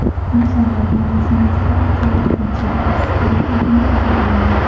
Inson organizmi juda aqlli, qanchada ozish kerakligini o‘zi biladi.